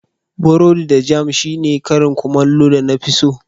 Borodi da jam shine karin kumallo na da na fi so.